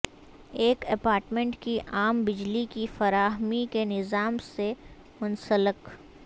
ایک اپارٹمنٹ کی عام بجلی کی فراہمی کے نظام سے منسلک